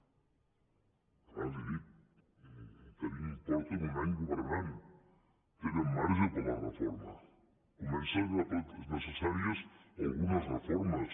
abans li ho he dit fa un any que governen tenen marge per a la reforma comencen a ser necessàries algunes reformes